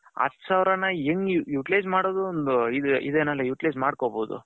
ಹತ್ತು ಸಾವಿರಾನ ಹೆಂಗೆ utilize ಮಾಡೊದು ಒಂದು ಇದೆನಲ್ಲ utilize ಮಾಡಕೊಬೋದು.